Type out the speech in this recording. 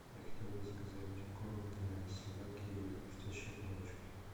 я хотел бы заказать корм для собаки хрустящие палочки